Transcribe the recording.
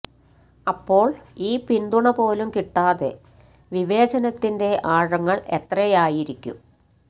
അപ്പോള് ഈ പിന്തുണ പോലും കിട്ടാതെ വിവേചനത്തിന്റെ ആഴങ്ങള് എത്രയായിരിക്കും